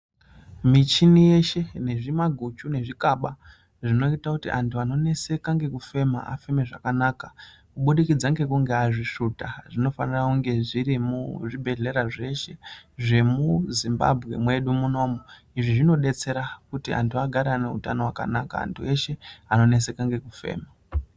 Michini yeshe nezvimaguchu nezvikaba zvinoita kuti antu anoneseka nekufema afeme zvakanaka kubudikidza ngekunge azvisvuta zvinofanira kunge zvirimwo muzvibhedhlera zvemuZimbabwe mwedu munomu izvi zvinodetsera kuti antu agare ane utano hwakanaka antu eshe anoneseka nekufema.